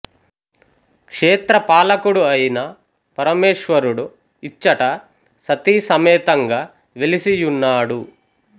క్షేత్ర పాలకుడు అయిన పరమేశ్వరుడు ఇచ్చట సతీసమేతంగా వెలిసి యున్నాడు